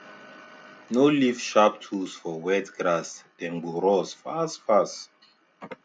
no leave sharp tools for wet grass dem go rust fast fast